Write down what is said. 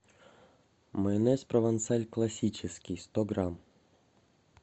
майонез провансаль классический сто грамм